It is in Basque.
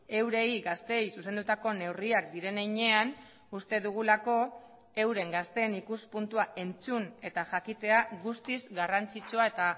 eurei gazteei zuzendutako neurriak diren heinean uste dugulako euren gazteen ikuspuntua entzun eta jakitea guztiz garrantzitsua eta